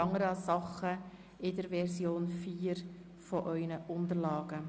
Alle anderen Sachen finden Sie in der Version 4 in Ihren Unterlagen.